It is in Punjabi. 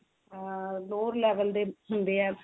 ਆ lower level ਦੇ ਹੁੰਦੇ ਆ